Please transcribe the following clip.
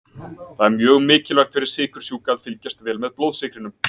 Það er mjög mikilvægt fyrir sykursjúka að fylgjast vel með blóðsykrinum.